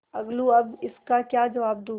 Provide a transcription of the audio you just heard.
अलगूअब इसका क्या जवाब दूँ